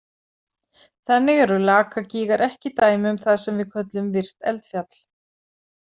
Þannig eru Lakagígar ekki dæmi um það sem við köllum virkt eldfjall.